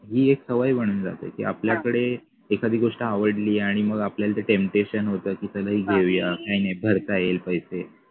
ही एक सवय बनून जाते की आपल्याकडे एखादी गोष्ट आवडली आणि मग आपल्याला ते temtation होत की चला ही घेऊया काही नाही भरता येईल पैसे